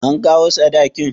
An kawo sadakin?